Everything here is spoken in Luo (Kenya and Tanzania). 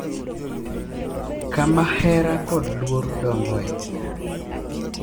Kama hera kod luor dongoe.